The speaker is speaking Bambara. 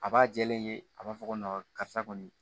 A b'a jɛlen ye a b'a fɔ ko karisa kɔni